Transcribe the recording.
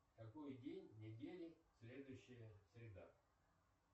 какой день недели следующая среда